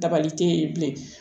Dabali te yen bilen